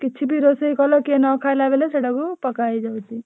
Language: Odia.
କିଛିବି ରୋଷେଇ କଲେ ସେଟା କିଏ ନଖାଇଲା ବେଳକୁ ପକାହେଇ ଯାଉଛି।